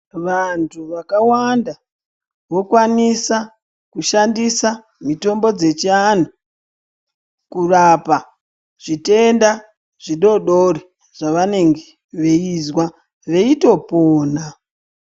Vantu vakawanda vokwanisa kushandisa mitombo dze chivantu kurapa zvitenda zvidodori zvavange veizwa veito pona.